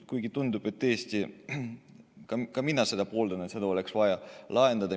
Ka mina pooldan seda, et see oleks vaja lahendada.